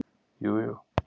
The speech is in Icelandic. Jú jú